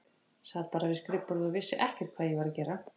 Sat bara við skrifborðið og vissi ekkert hvað ég var að gera.